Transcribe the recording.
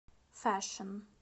фэшн